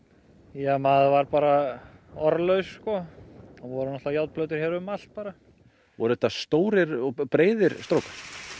ja maður var bara orðlaus það voru járnplötur hérna um allt bara voru þetta stórir og breiðir strókar